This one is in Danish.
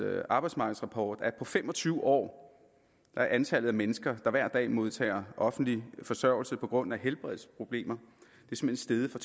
arbejdsmarkedsrapport at på fem og tyve år er antallet af mennesker der hver dag modtager offentlig forsørgelse på grund af helbredsproblemer steget fra